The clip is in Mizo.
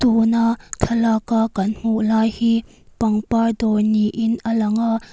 thlalaka kan hmuh lai hi pangpar dawr niin a lang a.